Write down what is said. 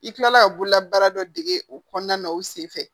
I kilala ka bolola baara dɔ dege o kɔnɔna na o senfɛ